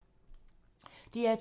DR2